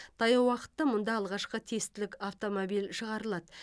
таяу уақытта мұнда алғашқы тестілік автомобиль шығарылады